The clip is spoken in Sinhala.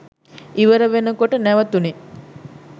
ඉවර වෙනකොට නැවතුනේ.